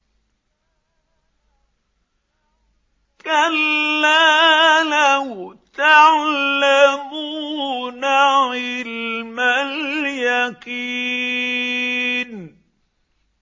كَلَّا لَوْ تَعْلَمُونَ عِلْمَ الْيَقِينِ